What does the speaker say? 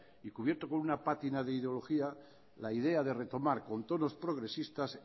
y cubierto con una pátina de ideología la idea de retomar con tonos progresistas